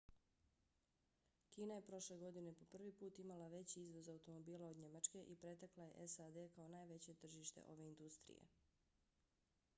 kina je prošle godine po prvi put imala veći izvoz automobila od njemačke i pretekla je sad kao najveće tržište ove industrije